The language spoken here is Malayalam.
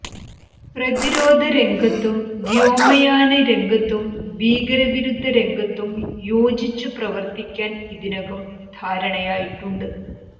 പ്രതിരോധ രംഗത്തും വ്യോമയാന രംഗത്തും ഭീകര വിരുദ്ധ രംഗത്തും യോജിച്ച് പ്രവർത്തിക്കാൻ ഇതിനകം ധാരണയായിട്ടുണ്ട്